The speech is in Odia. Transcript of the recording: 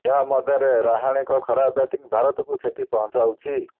ଏହା ମଧ୍ୟରେ ରାହାଣେଙ୍କ ଖରାପ ବ୍ୟାଟିଂ ଭାରତକୁ କ୍ଷତି ପହଁଚାଉଛି